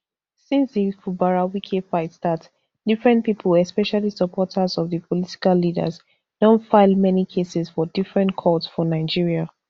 since di fubarawike fight start different pipo especially supporters of di political leaders don file many cases for different courts for nigeria